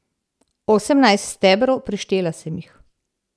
Osemnajst stebrov, preštela sem jih.